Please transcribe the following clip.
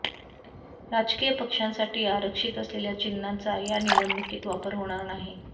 राजकीय पक्षांसाठी आरक्षित असलेल्या चिन्हांचा या निवडणुकीत वापर होणार नाही